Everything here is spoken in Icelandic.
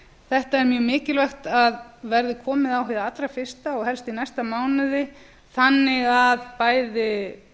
þetta er mjög mikilvægt að verði komið á hér hið allra fyrsta og helst í næsta mánuði þannig að bæði